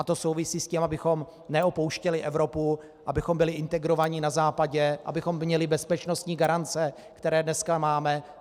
A to souvisí s tím, abychom neopouštěli Evropu, abychom byli integrováni na Západě, abychom měli bezpečnostní garance, které dneska máme.